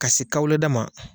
Ka se kawule da ma